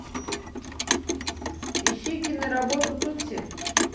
ищи киноработу тутси